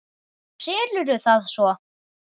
Og selurðu það svo?